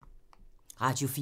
Radio 4